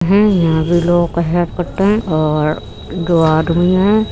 है। यहाँ भी लोगों के हेल्प करते है और दो आदमी है।